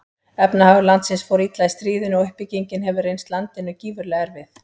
Efnahagur landsins fór illa í stríðinu og uppbyggingin hefur reynst landinu gífurlega erfið.